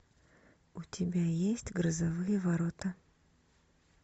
у тебя есть грозовые ворота